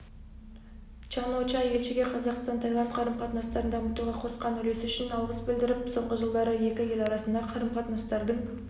чан-о-ча елшіге қазақстан-таиланд қарым-қатынастарын дамытуға қосқан үлесі үшін алғыс білдіріп соңғы жылдары екі ел арасындағы қарым-қатынастардың